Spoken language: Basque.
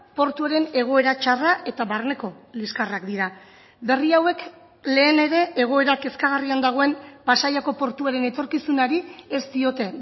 portuaren egoera txarra eta barneko liskarrak dira berri hauek lehen ere egoera kezkagarrian dagoen pasaiako portuaren etorkizunari ez diote